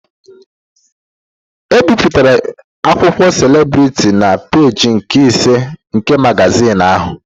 E bipụtara akụkọ selebritị na peejị nke ise nke magazin ahụ.